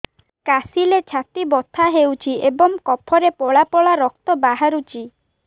କାଶିଲେ ଛାତି ବଥା ହେଉଛି ଏବଂ କଫରେ ପଳା ପଳା ରକ୍ତ ବାହାରୁଚି